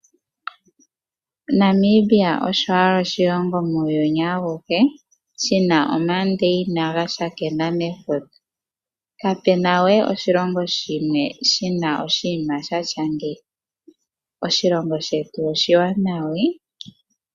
Namibia osho owala oshilongo muuyuni awuhe shina omandeina ga tsakanena nefuta. Kapuna we oshilongo shimwe shina oshinima shili ngeyi. Oshilongo shetu oshiwanawa ee.